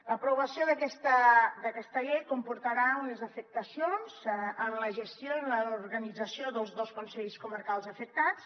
l’aprovació d’aquesta llei comportarà unes afectacions en la gestió i en l’organització dels dos consells comarcals afectats